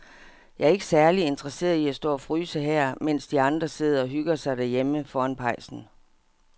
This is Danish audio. Jeg er ikke særlig interesseret i at stå og fryse her, mens de andre sidder og hygger sig derhjemme foran pejsen.